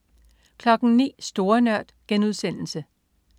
09.00 Store Nørd*